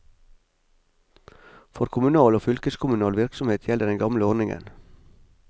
For kommunal og fylkeskommunal virksomhet gjelder den gamle ordningen.